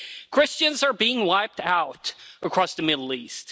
Christians are being wiped out across the Middle East.